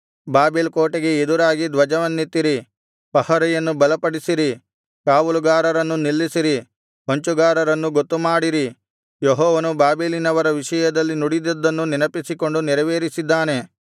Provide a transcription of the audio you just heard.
Babel ಕೋಟೆಗೆ ಎದುರಾಗಿ ಧ್ವಜವನ್ನೆತ್ತಿರಿ ಪಹರೆಯನ್ನು ಬಲಪಡಿಸಿರಿ ಕಾವಲುಗಾರರನ್ನು ನಿಲ್ಲಿಸಿರಿ ಹೊಂಚುಗಾರರನ್ನು ಗೊತ್ತುಮಾಡಿರಿ ಯೆಹೋವನು ಬಾಬೆಲಿನವರ ವಿಷಯದಲ್ಲಿ ನುಡಿದದ್ದನ್ನು ನೆನಪಿಸಿಕೊಂಡು ನೆರವೇರಿಸಿದ್ದಾನೆ